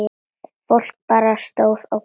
Fólk bara stóð og gapti.